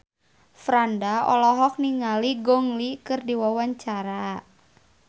Franda olohok ningali Gong Li keur diwawancara